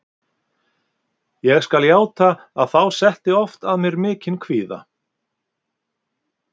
Ég skal játa að þá setti oft að mér mikinn kvíða.